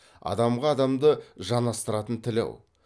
адамға адамды жанастыратын тіл ау